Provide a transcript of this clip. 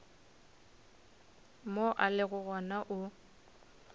mo a lego gona o